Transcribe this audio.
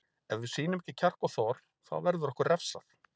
Ef við sýnum ekki kjark og þor þá verður okkur refsað.